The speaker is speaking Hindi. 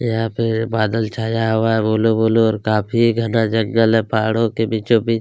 यहाँ पे बादल छाया हुआ है ब्लू ब्लू और काफ़ी घना जंगल है पहाड़ों के बीचो - बीच --